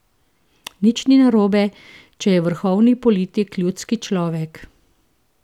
Nič ni narobe, če je vrhovni politik ljudski človek.